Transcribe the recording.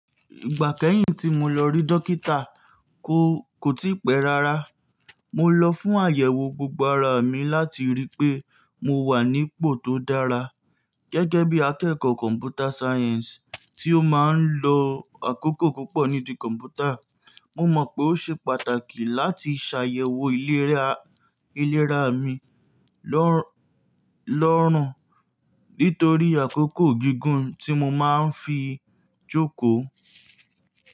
Ìgbà kẹ́yìn tí mo lọ rí dókítà kó tí pẹ́ rárá, mo lọ fún àyẹ̀wò gbogbo ara mi láti rí pé mo wà nípò tó dára. Gẹ́gẹ́ bí akẹ́kọ̀ọ́ Computer Science tí ó máa ń lo àkókò púpọ̀ nídìí kọ̀m̀pútà, mo mọ̀ pé ó ṣe pàtàkì láti ṣàyẹ̀wò ìlera mi lọ́rùn, nítorí àkókò gígùn tí mo máa ń fi jókòó.